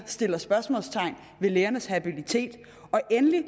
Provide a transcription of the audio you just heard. sætter spørgsmålstegn ved lægernes habilitet og endelig